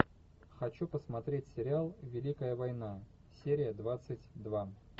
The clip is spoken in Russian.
хочу посмотреть сериал великая война серия двадцать два